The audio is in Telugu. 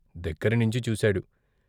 దగ్గరనుంచి చూశాడు.